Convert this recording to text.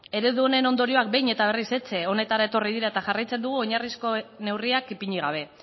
eredu honen ondorioak behin eta berriz etxe honetara etorri dira eta jarraitzen dugu oinarrizko neurriak ipini gabe